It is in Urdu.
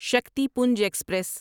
شکتیپنج ایکسپریس